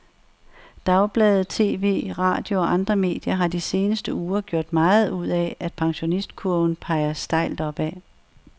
Dagblade, tv, radio og andre medier har de seneste uger gjort meget ud af, at pensionistkurven peger stejlt opad.